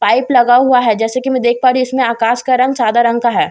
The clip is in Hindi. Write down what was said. पाइप लगा हुआ है जैसे कि मैं देख पा रही हूं इसमें आकाश का रंग सादा रंग का है।